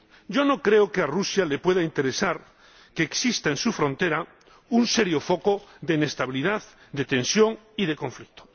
Yo no creo que a Rusia le pueda interesar que exista en su frontera un serio foco de inestabilidad, de tensión y de conflicto.